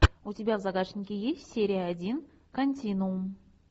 у тебя в загашнике есть серия один континуум